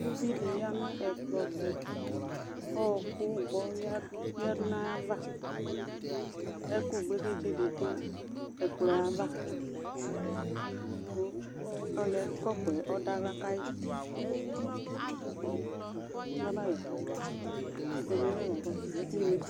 Uvi ɖi ƴa nʋ ɛƙplɔ tʋ;ɔɔƙʋ gbɔ ƴǝɖu n'aƴavaƐƙʋ gblegeɖze ɖɩ ɖʋ ɛƙplɔɛ ava ,ƙʋ ɔlʋ ƴɛ ƙɔpʋ ɖʋ aɣla ƙaɩ